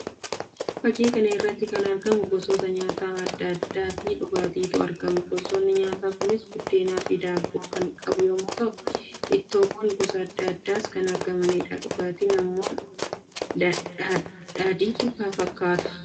Fakkii kana irratti kan argamu gosoota nyaata addaa addaa fi dhugaatiitu argama. Gosoonni nyaataa kunis budeenaa fi daabboo kan qabu yammuu ta'u; ittoowwan gosa addaa addaas kan jiraniidha. Dhugaatiin immoo daadhiitu fakkii kana irratti argama.